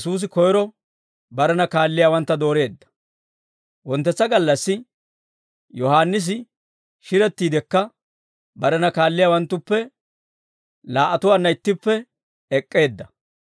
Wonttetsa gallassi Yohaannisi shirettiidekka barena kaalliyaawanttuppe laa"atuwaanna ittippe ek'k'eedda;